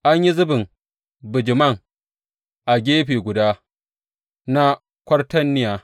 An yi zubin bijiman a jeri biyu a gefe guda na kwatarniya.